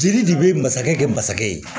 Jeli de bɛ masakɛ kɛ masakɛ ye